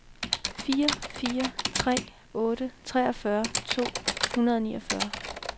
fire fire tre otte treogfyrre to hundrede og niogfyrre